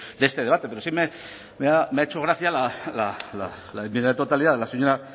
de este debate pero sí me ha hecho gracia la enmienda de totalidad de la señora